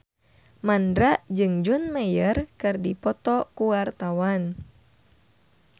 Mandra jeung John Mayer keur dipoto ku wartawan